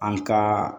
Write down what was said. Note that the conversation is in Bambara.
An ka